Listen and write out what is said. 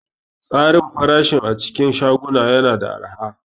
Tsarin farashi a cikin shagunan yana da araha.